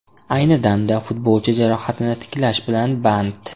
Ayni damda futbolchi jarohatini tiklash bilan band.